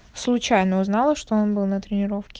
случайно узнала что он был на тренировке